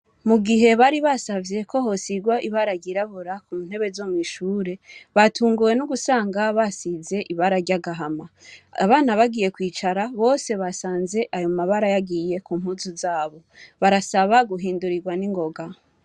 Mugihe bari basavye KO hosigwa ibara ryirabura kuntebe zo mw'ishure, batunguwe nugusanga basanze hasizwe ibara risa n'agahama. Abana bagiye kwicara bose basanze ayomabara yagiye kumpuzu zabo. Barasaba guhindurirwa ningoga.